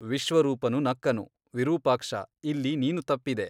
ವಿಶ್ವರೂಪನು ನಕ್ಕನು ವಿರೂಪಾಕ್ಷ ಇಲ್ಲಿ ನೀನು ತಪ್ಪಿದೆ.